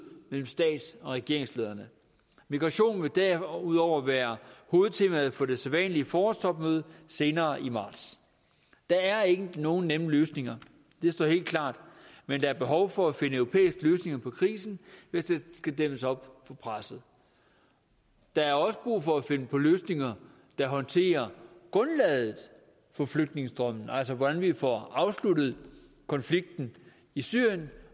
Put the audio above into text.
mellem stats og regeringslederne migration vil derudover være hovedtemaet på det sædvanlige forårstopmøde senere i marts der er ikke nogen nemme løsninger det står helt klart men der er behov for at finde europæiske løsninger på krisen hvis der skal dæmmes op for presset der er også brug for at finde løsninger der håndterer grundlaget for flygtningestrømmen altså hvordan vi får afsluttet konflikten i syrien